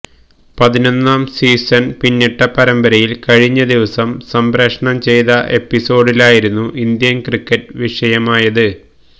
പതിനൊന്നാം സീസണ് പിന്നിട്ട പരമ്പരയില് കഴിഞ്ഞ ദിവസം സംപ്രേക്ഷണം ചെയ്ത എപ്പിസോഡിലായിരുന്നു ഇന്ത്യന് ക്രിക്കറ്റ് വിഷയമായത്